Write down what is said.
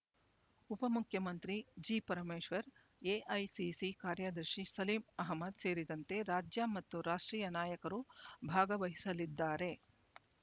ಉಪ ಮುಖ್ಯಮಂತ್ರಿ G Parameshwar AICC ಕಾರ್ಯದರ್ಶಿ ಸಲೀಂ ಅಹ್ಮದ್ ಸೇರಿದಂತೆ ರಾಜ್ಯ ಮತ್ತು ರಾಷ್ಟ್ರೀಯ ನಾಯಕರು ಭಾಗವಹಿಸಲಿದ್ದಾರೆ